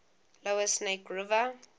lower snake river